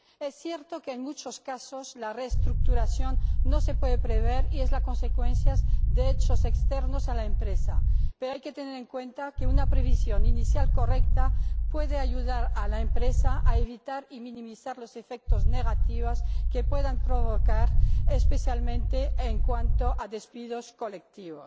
Es cierto que, en muchos casos, la reestructuración no se puede prever y es la consecuencia de hechos externos a la empresa, pero hay que tener en cuenta que una previsión inicial correcta puede ayudar a la empresa a evitar y minimizar los efectos negativos que puedan provocar, especialmente en cuanto a despidos colectivos.